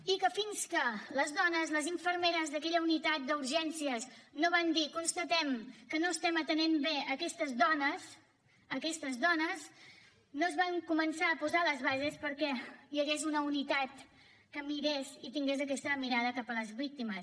i que fins que les dones les infermeres d’aquella unitat d’urgències no van dir constatem que no estem atenent bé aquestes dones no es van començar a posar les bases perquè hi hagués una unitat que mirés i tingués aquesta mirada cap a les víctimes